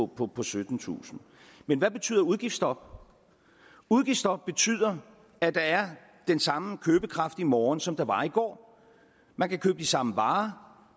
på på syttentusind men hvad betyder udgiftsstop udgiftsstop betyder at der er den samme købekraft i morgen som der var i går man kan købe de samme varer